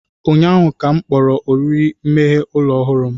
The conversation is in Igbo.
Ụnyaahụ ka m kpọrọ oriri mgbaghe ụlọ ọhụrụ m